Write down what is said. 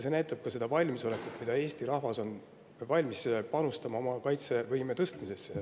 See näitab ka seda valmisolekut, kui palju Eesti rahvas on valmis panustama oma kaitsevõime tõstmisse.